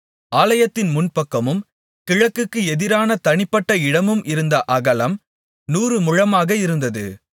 ஆலயத்தின் முன்பக்கமும் கிழக்குக்கு எதிரான தனிப்பட்ட இடமும் இருந்த அகலம் நூறு முழமாக இருந்தது